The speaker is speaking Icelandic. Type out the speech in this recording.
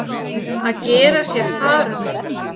Að gera sér far um eitthvað